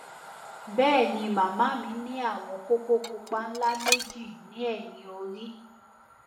bẹẹ ni màmá mi ní àwọn kókó pupa ńlá méjì ní ẹyìn orí